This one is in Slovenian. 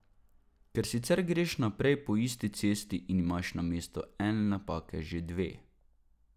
Ker sicer greš naprej po isti cesti in imaš namesto ene napake že dve.